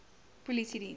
polisiediens